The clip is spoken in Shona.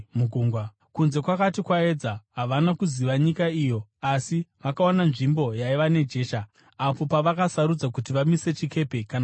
Kunze kwakati kwaedza, havana kuziva nyika iyo, asi vakaona nzvimbo yaiva nejecha, apo pavakasarudza kuti vamise chikepe kana zvaigona.